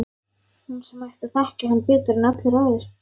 Hún sem ætti að þekkja hann betur en allir aðrir.